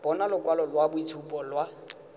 bona lokwalo lwa boitshupo lwa